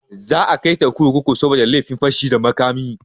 Za a kaita kurkuku saboda laifin fashi da makami.